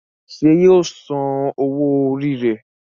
ṣe yíò sàn owó Orí rẹ.